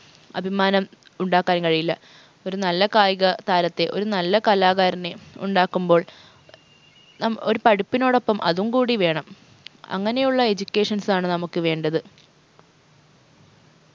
അഭിമാനം ഉണ്ടാക്കാൻ കഴിയില്ല ഒരു നല്ല കായിക താരത്തെ ഒരു നല്ല കലാകാരനെ ഉണ്ടാക്കുമ്പോൾ നാം ഒരു പഠിപ്പിനോടൊപ്പം അതും കൂടി വേണം അങ്ങനെയുള്ള educations ആണ് നമുക്ക് വേണ്ടത്